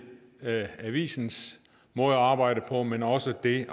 avisens måde at arbejde på men også det